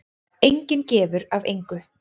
Enginn gefur af engu.